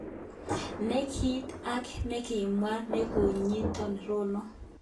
Ne kit age nekimwa nekonyitot Rono.